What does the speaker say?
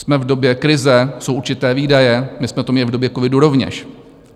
Jsme v době krize, jsou určité výdaje, my jsme to měli v době covidu rovněž.